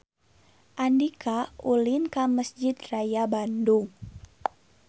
Andika ulin ka Mesjid Raya Bandung